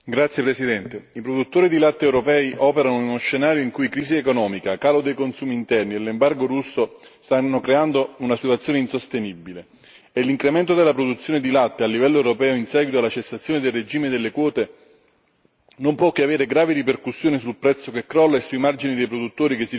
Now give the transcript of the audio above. Signor Presidente, onorevoli colleghi, i produttori di latte europei operano in uno scenario in cui crisi economica, calo dei consumi interni ed embargo russo stanno creando una situazione insostenibile e l'incremento della produzione di latte a livello europeo, in seguito alla cessazione del regime delle quote, non può che avere gravi ripercussioni sul prezzo che crolla e sui margini dei produttori che si riducono sempre più.